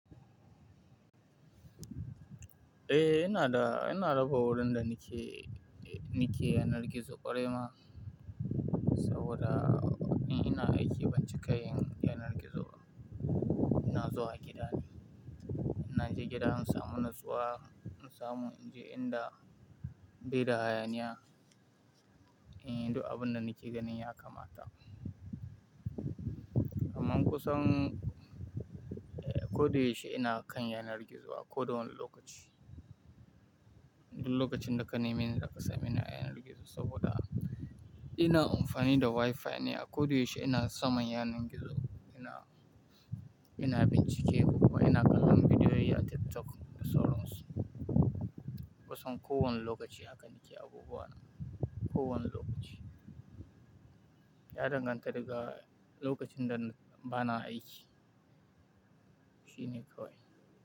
Eh, ina da, ina da raba da nike, nike yanar gizo kwarai ma. Saboda watanni ina aiki binciken yanar gizo. Ina zuwa gida ne. Inna je gida in samu in nutsuwa, in samu in je inda be da hayaniya, du abunda nike ganin ya kamata. Amman kusan eh, ko da yaushe ina kan yanar gizo a kowane lokaci. Duk lokacin da ka neme ni zaka sameni ina yanar gizo saboda ina amfani da WiFi ne a ko da yaushe ina saman yanar gizo. Ina, ina bincike kuma ina kallon bidiyoyi a TikTok da sauran su Kusan ko wane lokaci haka nike abubuwa na, ko wane lokaci. Ya danganta daga lokacin da bana aiki. Shi ne kawai.